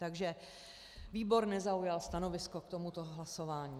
Takže výbor nezaujal stanovisko k tomuto hlasování.